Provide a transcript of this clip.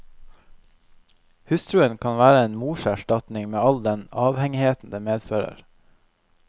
Hustruen kan være en morserstatning, med all den avhengigheten det medfører.